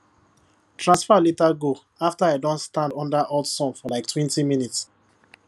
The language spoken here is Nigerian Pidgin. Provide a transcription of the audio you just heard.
transfer later go after i don stand under hot sun for like twenty minutes